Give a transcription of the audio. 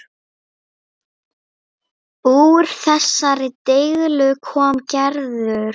Úr þessari deiglu kom Gerður.